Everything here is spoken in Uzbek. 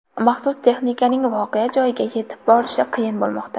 Maxsus texnikaning voqea joyiga yetib borishi qiyin bo‘lmoqda.